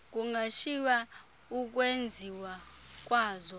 kungashiywa ukwenziwa kwazo